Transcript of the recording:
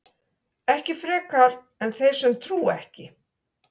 ekki frekar en þeir sem trúa ekki